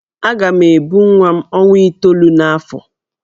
Aga m ebu nwa m ọnwa itoolu n'afọ.